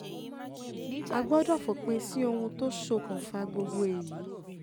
a gbọ́dọ̀ fòpin sí ohun tó ṣokùnfà gbogbo èyí